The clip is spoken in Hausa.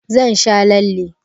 Zan sha lalle.